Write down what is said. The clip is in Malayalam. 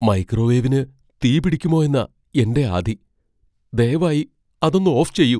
മൈക്രോവേവിന് തീപിടിക്കുമോയെന്നാ എന്റെ ആധി. ദയവായി അതൊന്ന് ഓഫ് ചെയ്യൂ.